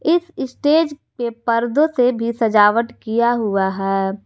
इस स्टेज पे पर्दों से भी सजावट किया हुआ है।